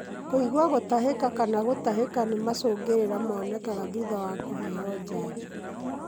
Kũigua gũtahĩka kana gũtahĩka ni macũngĩrĩra monekaga thutha ya kũheo janjo.